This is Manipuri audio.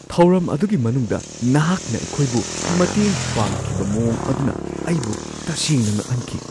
ꯊꯧꯔꯝ ꯑꯗꯨꯒꯤ ꯃꯅꯨꯡꯗ ꯅꯍꯥꯛꯅ ꯑꯩꯈꯣꯏꯕꯨ ꯃꯇꯦꯡ ꯄꯥꯡꯈꯤꯕ ꯃꯑꯣꯡ ꯑꯗꯨꯅ ꯑꯩꯕꯨ ꯇꯁꯦꯡꯅ ꯉꯛꯍꯟꯈꯤ!